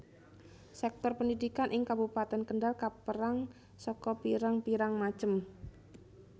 Sektor pendidikan ing Kabupatèn Kendal kaperang saka pirang pirang macem